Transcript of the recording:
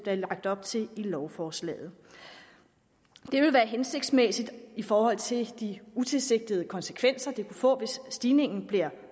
er lagt op til i lovforslaget det vil være hensigtsmæssigt i forhold til de utilsigtede konsekvenser det kunne få hvis stigningen bliver